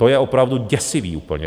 To je opravdu děsivý úplně!